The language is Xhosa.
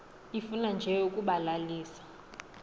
ifuna nje ukubalalisa